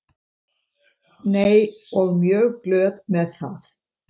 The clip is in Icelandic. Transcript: Nei og mjög glöð með það.